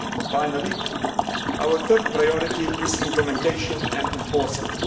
only. Finally, our third priority is implementation and enforcement.